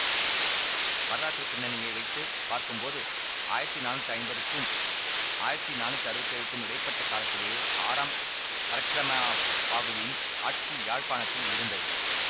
வரலாற்று பிண்ணணியை வைத்து பார்க்கும்போது ஆயிரத்தி நானூத்தி ஐம்பதுக்கும் ஆயிரத்தி நானூத்தி அறுவத்தி ஏழுக்கும் இடை பட்ட காலத்திலேயே ஆறாம் பரக்கிரம பாகுவின் ஆட்சி யாழ்ப்பாணத்தில் இருந்தது